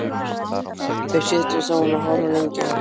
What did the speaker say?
Þau setjast á hann og horfa lengi á